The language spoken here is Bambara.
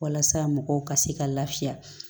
Walasa mɔgɔw ka se ka lafiya